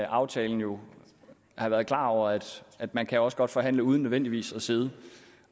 aftalen jo har været klar over at at man også godt kan forhandle uden nødvendigvis at sidde